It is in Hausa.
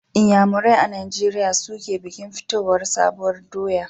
Inyanamerai a Nijeriya su ke bikin fitowar sabuwar doya.